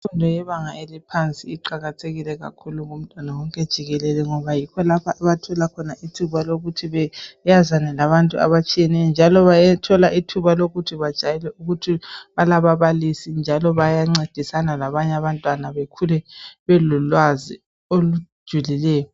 Imfundo yebanga eliphansi iqakathekile kakhulu ngomntwana wonke jikelele ngoba yikholapha abathola khona ithuba lokuthi beyazane labantu abtshiyeneyo njalo bathola ithuba lokuthi bajayele ukuthi balababalisi njalo bayancedisana labanye abantwana bakhule belolwazi olujulileyo.